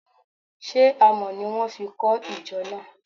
She Àmọ́ ni wọn fi kọ ìjọ náà?